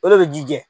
O de bɛ ji jɛ